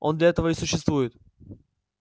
он для этого и существует